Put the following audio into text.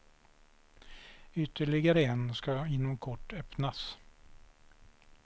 Ytterligare en ska inom kort öppnas.